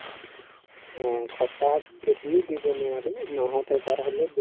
অ, সপ্তাহত যদিও দিব নোৱাৰিলো মাহত এবাৰ হলেও